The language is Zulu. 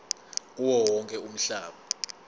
kuwo wonke umhlaba